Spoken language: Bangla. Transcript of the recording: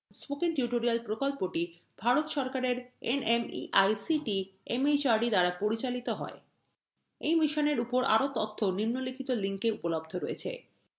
spoken tutorial প্রকল্পটি ভারত সরকারএর nmeict mhrd দ্বারা পরিচালিত হয় এই মিশনের উপর আরো তথ্য নিম্নলিখিত link এ উপলব্ধ রয়েছে